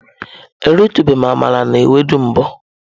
Eritubeghi m amala na ewedu mbu.